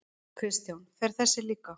Kristján: Fer þessi líka?